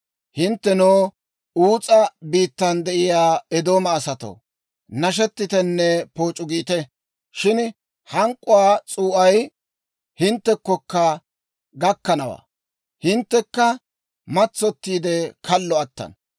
Hinttenoo, Uus'a biittan de'iyaa Eedooma asatoo, nashetitenne pooc'u giite. Shin hank'k'uwaa s'uu'ay hinttekkokka gakkanawaa; hinttekka matsottiide, kallo attana.